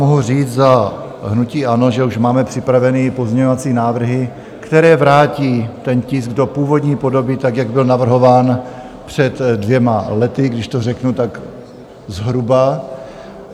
Mohu říct za hnutí ANO, že už máme připravené pozměňovací návrhy, které vrátí ten tisk do původní podoby, tak, jak byl navrhován před dvěma lety, když to řeknu tak zhruba.